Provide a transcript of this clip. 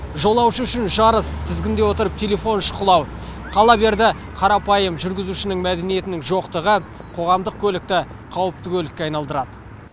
жолаушы үшін жарыс тізгінде отырып телефон шұқылау қала берді қарапайым жүргізушінің мәдениетінің жоқтығы қоғамдық көлікті қауіпті көлікке айналдырады